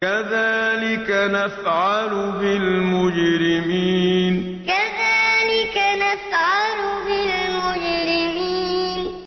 كَذَٰلِكَ نَفْعَلُ بِالْمُجْرِمِينَ كَذَٰلِكَ نَفْعَلُ بِالْمُجْرِمِينَ